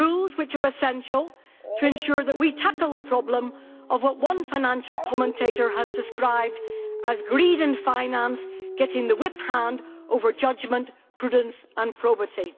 They are essential to ensure that we tackle the problem of what one financial commentator has described as greed and finance getting the whip hand over judgment, prudence and probity.